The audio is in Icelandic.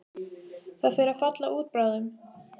Það fer að falla út bráðum.